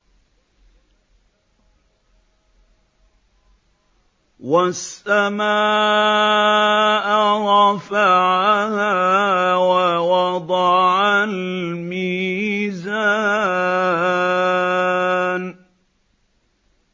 وَالسَّمَاءَ رَفَعَهَا وَوَضَعَ الْمِيزَانَ